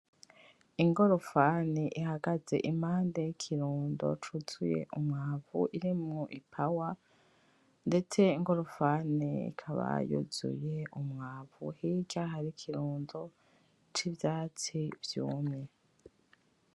Ingorofani ihagaze impande y'ikirundo cuzuye umwavu irimwo ipawa ndetse ingorofani ikaba yuzuye umwavu hirya hari ikirundo c'ivyatsi vyumye.